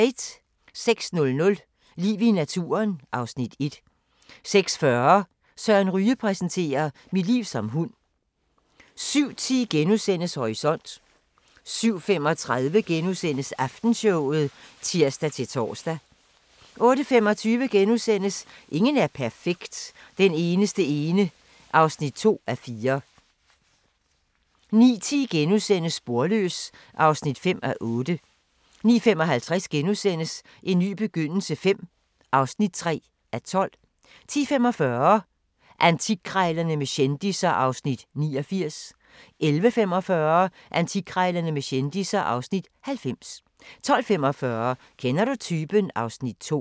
06:00: Liv i naturen (Afs. 1) 06:40: Søren Ryge præsenterer: "Mit liv som hund" 07:10: Horisont * 07:35: Aftenshowet *(tir-tor) 08:25: Ingen er perfekt – Den eneste ene (2:4)* 09:10: Sporløs (5:8)* 09:55: En ny begyndelse V (3:12)* 10:45: Antikkrejlerne med kendisser (Afs. 89) 11:45: Antikkrejlerne med kendisser (Afs. 90) 12:45: Kender du typen? (Afs. 2)